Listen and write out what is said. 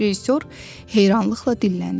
Rejissor heyranlıqla dilləndi.